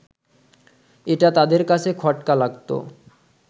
এটা তাদের কাছে খটকা লাগত